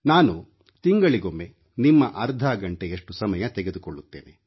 ನಾನು ತಿಂಗಳಿಗೊಮ್ಮೆ ನಿಮ್ಮ ಅರ್ಧ ಗಂಟೆಯಷ್ಟು ಸಮಯ ತೆಗೆದುಕೊಳ್ಳುತ್ತೇನೆ